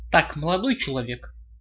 так молодой человек